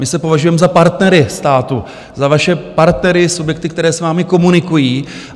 My se považujeme za partnery státu, za vaše partnery, subjekty, které s vámi komunikují.